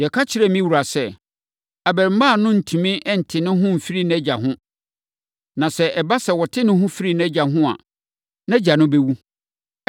Yɛka kyerɛɛ me wura sɛ, ‘Abarimaa no rentumi nte ne ho mfiri nʼagya ho. Na sɛ ɛba sɛ ɔte ne ho firi nʼagya ho a, nʼagya no bɛwu.’